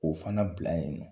O fana bila yen nɔ